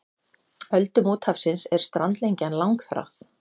Öldum úthafsins er strandlengjan langþráð.